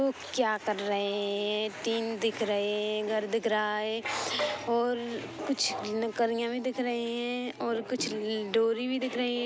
उक्क क्या कर रहेएएएएए टीन दिख रहेएएएए है घर दिख रहा है औरररर कुछ भी दिख रहे हैऔर कुछ डोरी भी दिख रहे है।